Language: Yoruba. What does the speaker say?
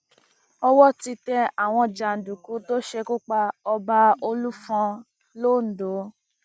owó ti tẹ àwọn jàǹdùkú tó ṣekú pa ọba olúfọn londo